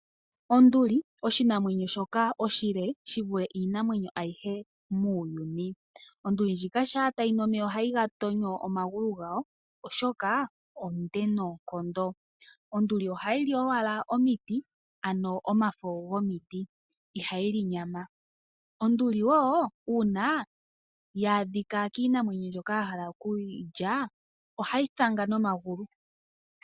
Onduli oshinamwenyo shoka oshile shivule iinamwenyo ayihe muuyuni . Onduli ndjika shampa tayinu omeya ohayi toywo omagulu gayo oshoka onde noonkondo. Onduli ohayili owala omiti ano omafo gomiti ihayili onyama. Onduli uuna ya adhika kiinamwenyo mbyoka yahala oku yilya ohayi thanga nomagulu.